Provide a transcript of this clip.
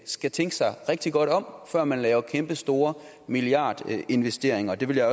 skal tænke sig rigtig godt om før man laver kæmpestore milliardinvesteringer og det vil jeg